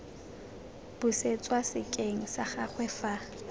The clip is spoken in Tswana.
busetswa sekeng sa gagwe fa